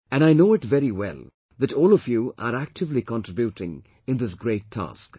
And I know it very well that all of you are actively contributing in this great task